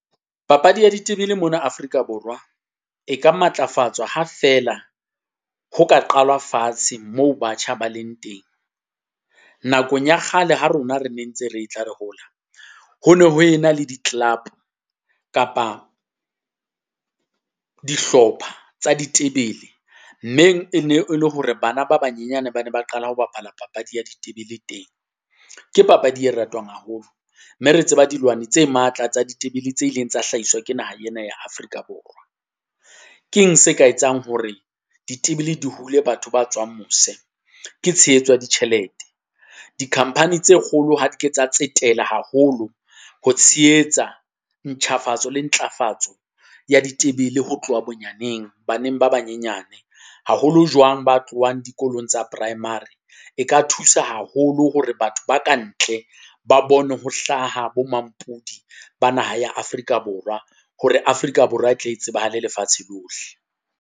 Papadi ya ditebele mona Afrika Borwa e ka matlafatswa ha feela ho ka qalwa fatshe mo batjha ba leng teng. Nakong ya kgale ha rona re ne ntse re tla re hola, ho no ho e na le di-club kapa dihlopha tsa ditebele mme e ne le hore bana ba banyenyane ba ne ba qala ho bapala papadi ya ditebele teng. Ke papadi e ratwang haholo mme re tseba dilwani tse matla tsa ditebele tse ileng tsa hlahiswa ke naha ena ya Afrika Borwa. Keng se ka etsang hore ditebele di hule batho ba tswang mose? Ke tshehetso ya ditjhelete, di-company tse kgolo ha di ke tsa tsetela haholo ho tshehetsa ntjhafatso le ntlafatso ya ditebele ho tloha bonyaneng baneng ba banyenyane haholo jwang ba tlohang dikolong tsa primary. E ka thusa haholo hore batho ba ka ntle ba bone ho hlaha bo mampodi ba naha ya Afrika Borwa hore Afrika Borwa e tle e tsebahale lefatshe lohle.